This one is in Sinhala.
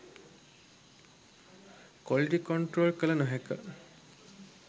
කොලිටි කොන්ට්‍රෝල් කල නොහැක.